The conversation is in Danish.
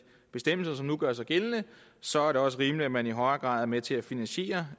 bestemmelser som nu gør sig gældende så er det også rimeligt at man i højere grad er med til at finansiere